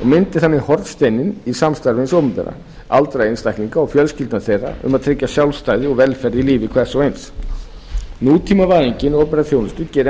og myndi þannig hornsteininn í samstarfi hins opinbera aldraða einstaklinga og fjölskyldum þeirra um að tryggja sjálfstæði og velferð í lífi hvers og eins nútímavæðing opinberrar þjónustu gerir enn fremur